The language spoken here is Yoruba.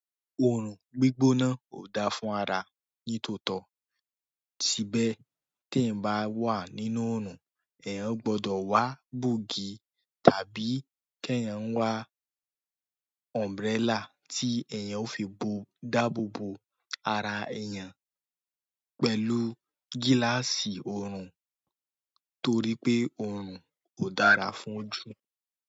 Òòrùn gbígbóná kò da fún ara ní tòótọ́, tí bẹ́ tí ẹ̀ ń bá wà nínú òòrùn, ẹ̀ yóò gbọ́dọ̀ wá bogì tàbí kí eeyań wá umbrella ti eeyan o fi daboobo ara eeyan pẹ̀lú gilasi oorun toripe oorun ko dára fún ojú.